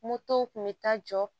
Motow kun bɛ taa jɔ